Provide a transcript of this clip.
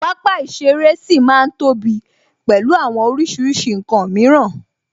Pápá ìṣeré ṣì ma ń ní tóbi pẹ̀lú àwọn oríṣiríṣi ǹkan mìíràn